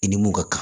I ni mun ka kan